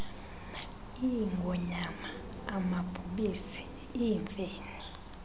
iingonyama amabhubesi iimfene